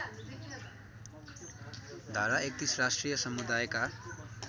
धारा ३१ राष्ट्रिय समुदायका